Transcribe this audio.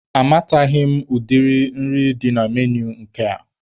Amataghị m ụdi nri dị na menui nke a.